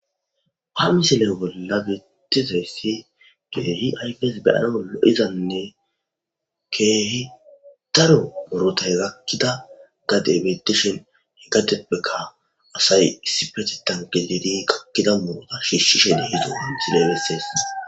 Wamisiley bolla biitizayssi geehi yqes beyana lo'izanne keehi daro murotay gakkida gadeebetishen iggateppeka asay issi petitan gilidi gakkida murota shiishshishe di hizo hamisileybessees.